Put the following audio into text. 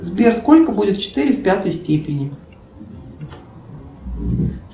сбер сколько будет четыре в пятой степени